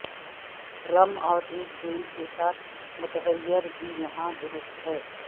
رم اور ایک بینڈ کے ساتھ متغیر بھی یہاں درست ہیں